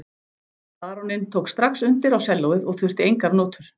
Baróninn tók strax undir á sellóið og þurfti engar nótur.